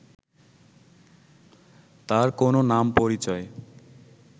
তার কোনো নাম পরিচয়